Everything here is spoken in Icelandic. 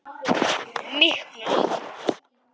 Miklu lengra.